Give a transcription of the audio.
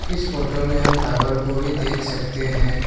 इस फोटो में हम टावर को भी देख सकते हैं।